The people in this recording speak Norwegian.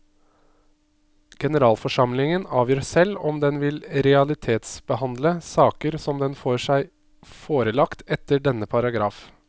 Generalforsamlingen avgjør selv om den vil realitetsbehandle saker som den får seg forelagt etter denne paragraf.